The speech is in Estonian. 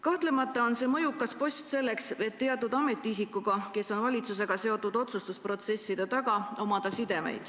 Kahtlemata on see mõjukas post selleks, et omada sidemeid teatud ametiisikuga, kes on valitsusega seotud otsustusprotsesside taga.